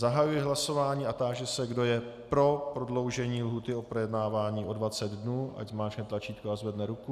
Zahajuji hlasování a táži se, kdo je pro prodloužení lhůty k projednávání o 20 dnů, ať zmáčkne tlačítko a zvedne ruku.